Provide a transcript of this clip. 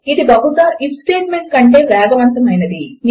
ఇది బహుశా IF statement కంటే వేగవంతము అయింది